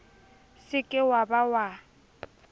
se ke wa ba wa